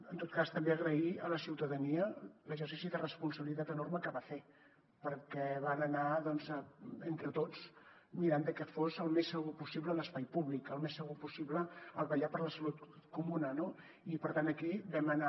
en tot cas també agrair a la ciutadania l’exercici de responsabilitat enorme que va fer perquè van anar doncs entre tots mirant de que fos el més segur possible l’espai públic el més segur possible el vetllar per la salut comuna no i per tant aquí vam anar